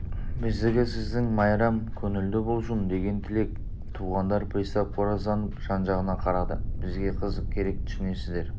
биздики сиздиң майрам көнулду болсун деген тилек туғандар пристав қоразданып жан-жағына қарады бізге қызық керек түсінесіздер